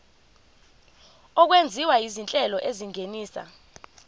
okwenziwa izinhlelo ezingenisa